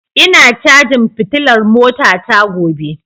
Ina cajin fitilar motata gobe